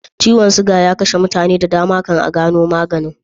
Ciwon suga ya kashe mutane da dama kan a gano maganin